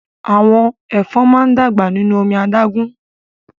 Àwọn ẹ̀fọn máa n dàgbà nínú omi adágún.